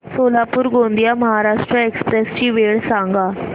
Solapur Gondia Maharashtra express ची वेळ सांगा